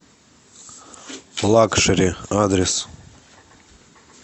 лакшери адрес